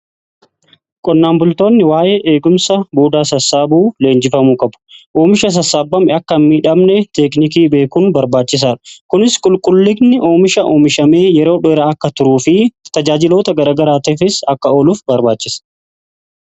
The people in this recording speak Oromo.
Qonnaan bultoonni waa'ee eegumsa buudaa sassaabuu leenjifamuu qabu. Oomisha sassaabame akka miidhamne teeknikii beekuun barbaachisaadha. Kunis qulqullinni oomisha oomishamee yeroo dheeraa akka turuu fi tajaajiloota garagaraateefis akka oluuf barbaachisa.